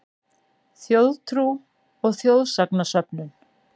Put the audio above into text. Þjóðtrú og þjóðsagnasöfnun